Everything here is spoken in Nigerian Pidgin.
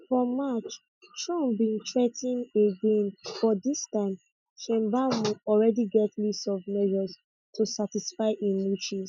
for march trump bin threa ten again but dis time sheinbaum already get list of measures to satisfy im wishes